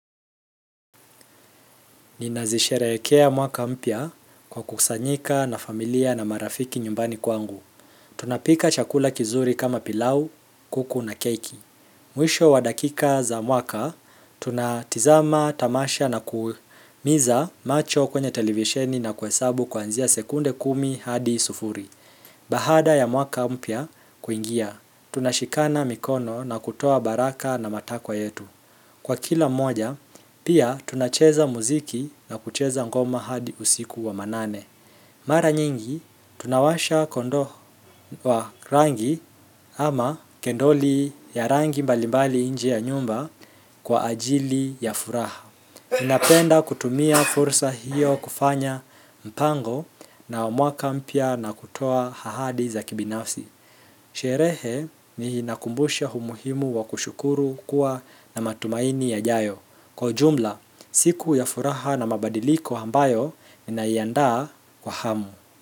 Nina zisherehekea mwaka mpya kwa kukusanyika na familia na marafiki nyumbani kwangu. Tunapika chakula kizuri kama pilau, kuku na keki. Mwisho wa dakika za mwaka, tuna tizama tamasha na kuumiza macho kwenye televisheni na kuhesabu kuanzia sekunde kumi hadi sufuri. Baada ya mwaka mpya kuingia, tunashikana mikono na kutoa baraka na matakwa yetu. Kwa kila mmoja, pia tunacheza muziki na kucheza ngoma hadi usiku wa manane. Mara nyingi, tunawasha kondoo wa rangi ama kendoli ya rangi mbalimbali nje ya nyumba kwa ajili ya furaha. Inapenda kutumia fursa hiyo kufanya mpango na mwaka mpya na kutoa ahadi za kibinafsi. Sherehe ninakumbusha umuhimu wa kushukuru kuwa na matumaini ya jayo. Kwa ujumla, siku ya furaha na mabadiliko ambayo, nina iandaa kwa hamu.